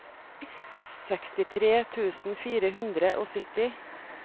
sekstitre tusen fire hundre og sytti